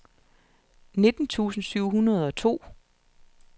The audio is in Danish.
nitten tusind syv hundrede og to